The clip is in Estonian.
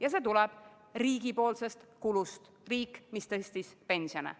Ja see tuleb riigi kulutuste tõttu, sest riik tõstis pensione.